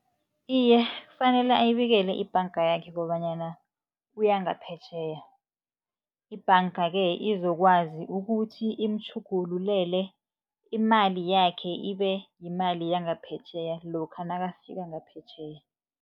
Iye, kufanele ayibikele ibhanga yakhe kobanyana uya ngaphetjheya. Ibhanga-ke izokwazi ukuthi imtjhugululele imali yakhe, ibe yimali yangaphetjheya lokha nakafika ngaphetjheya.